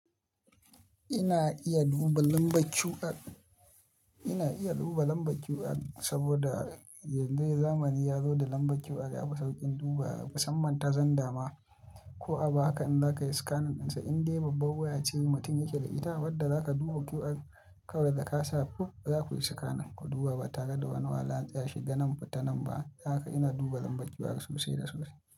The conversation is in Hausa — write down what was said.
Ina iya duba lambar QR, ina iya duba lambar QR saboda yanzu zamani ya zo da lambar QR akwai sauƙin duba, musamman ta zanda ma. Ko abu haka in zaka yi scanning ɗinsa, in dai babba waya ce mutum yake da ita, wadda zaka duba QR kawai da ka sa fuff zaku yi scanning. Ku duba ba tare da wani walan tsashi ganin fitanan ba. Haka ina duba lambar QR sosai da sosai.